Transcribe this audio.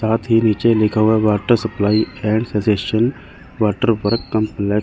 साथ ही नीचे लिखा हुआ है water supply and suggestion water for come--